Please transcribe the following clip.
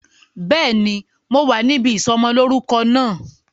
Béèni, mo wà níbí ìsọmọ lórúkọ náà